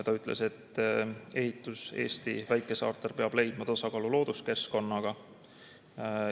Ta ütles, et ehitus Eesti väikesaartel peab toimuma tasakaalus looduskeskkonnaga.